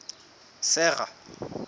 sera